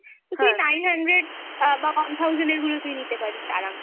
তো তুই nine hundred অ্যাঁ বা one thousand এর গুলো তুই নিতে পারিস আরামসে